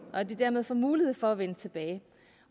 og at de dermed får mulighed for at vende tilbage